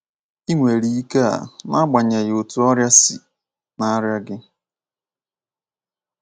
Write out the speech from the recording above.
I nwere ike a n’agbanyeghị otu ọrịa si na - arịa gị. ”